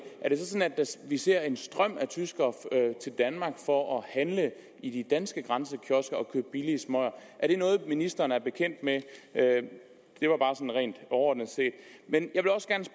vi ser en strøm af tyskere til danmark for at handle i de danske grænsekiosker og købe billige smøger er det noget ministeren er bekendt med det var bare sådan rent overordnet set